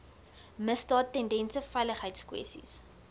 misdaad tendense veiligheidskwessies